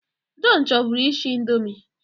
Jọn chọburu ishi ịndomi